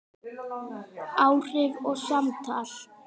Áhrif og samtal